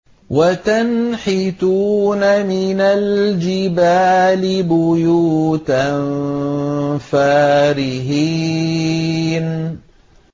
وَتَنْحِتُونَ مِنَ الْجِبَالِ بُيُوتًا فَارِهِينَ